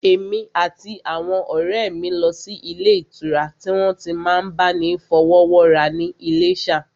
Èmi àti àwọn ọ̀rẹ́ mi lọ sí ilé ìtura tí wọ́n ti n máa bá ni fọwọ́wọ́ra ní Iléṣà